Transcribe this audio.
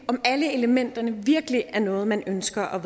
om alle elementerne virkelig er noget man ønsker at